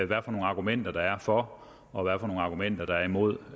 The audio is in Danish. hvad for nogle argumenter der er for og hvad for nogle argumenter der er imod